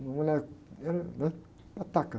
Uma mulher, era, né, pataca.